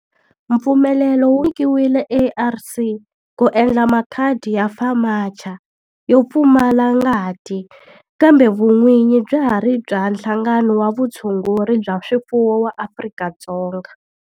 Mpfumelelo wu nyikiwile ARC ku endla makhadi ya FAMACHA yo pfumala ngati kambe vun'winyi bya ha ri bya Nhlangano wa Vutshunguri bya swifuwo wa Afrika-Dzonga.